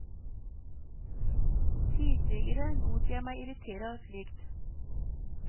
Tidligere lot jeg meg irritere av slikt.